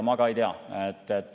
Mina ka ei tea.